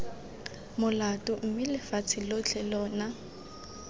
molato mme lefatshe lotlhe lona